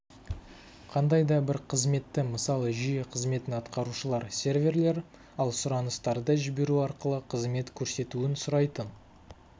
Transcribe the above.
қандай да бір қызметті мысалы жүйе қызметін атқарушылар серверлер ал сұраныстарды жіберу арқылы қызмет көрсетуін сұрайтын